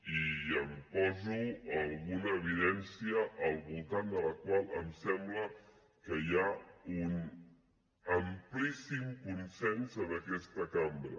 i en poso alguna evidència al voltant de la qual em sembla que hi ha un amplíssim consens en aquesta cambra